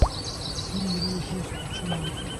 фильм робопес включи мне